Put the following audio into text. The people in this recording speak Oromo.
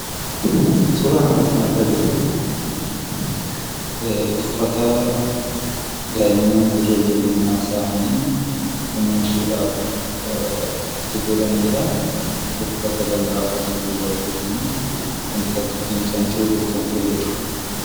Suuraa kanarratti kan argaa jirru uffata daa'imman yeroo ijoollummaa isaanii kunuunsuudhaaf itti godhaniidha. uffata lallaafaa jirbiirraa hojjatamuu wantoota akka fincaanii xuuxuuf kan fayyadu.